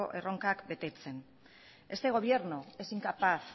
erronkak betetzen este gobierno es incapaz